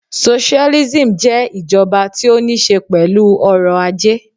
Socialism jé ìjoba tí ó ní se pèlú orò ajé